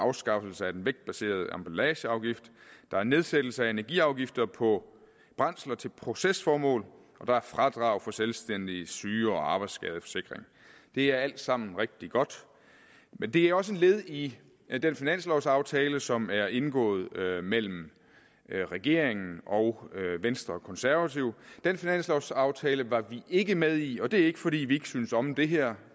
afskaffelse af den vægtbaserede emballageafgift der er nedsættelse af energiafgifter på brændsler til procesformål og der er fradrag for selvstændiges syge og arbejdsskadeforsikring det er alt sammen rigtig godt men det er også et led i i den finanslovsaftale som er indgået mellem regeringen og venstre og konservative den finanslovsaftale var vi ikke med i og det var ikke fordi vi ikke synes om det her